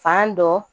Fan dɔ